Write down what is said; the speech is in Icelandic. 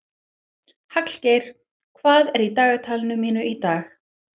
Hallgeir, hvað er í dagatalinu mínu í dag?